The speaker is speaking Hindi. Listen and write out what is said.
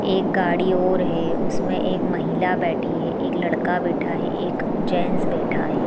एक गाड़ी और है उसमें एक महिला बैठी है एक लड़का बैठा है एक जेंट्स बैठा है।